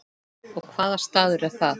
Og hvaða staður er það?